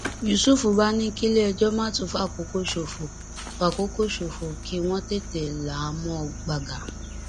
yusuf bá ní kílẹẹjọ má tún fàkókò ṣòfò fàkókò ṣòfò kí wọn tètè là á mọ gbàgà